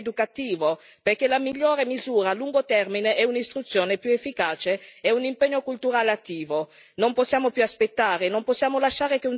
Serve anche un investimento forte da un punto di vista educativo, perché la migliore misura a lungo termine è un'istruzione più efficace e un impegno culturale attivo.